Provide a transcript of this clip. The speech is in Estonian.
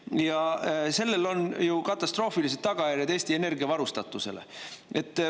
Ja sellel on ju katastroofilised tagajärjed Eesti energiavarustatusele.